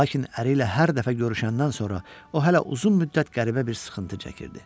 Lakin əri ilə hər dəfə görüşəndən sonra o hələ uzun müddət qəribə bir sıxıntı çəkirdi.